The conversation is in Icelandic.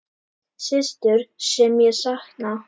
Systur sem ég sakna.